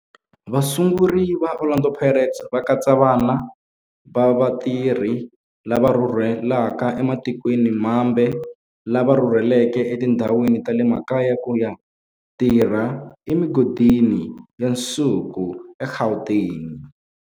Vasunguri va Orlando Pirates va katsa vana va vatirhi lava rhurhelaka ematikweni mambe lava rhurheleke etindhawini ta le makaya ku ya tirha emigodini ya nsuku eGauteng.